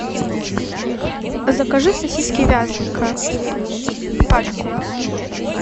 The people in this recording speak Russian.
закажи сосиски вязанка пачку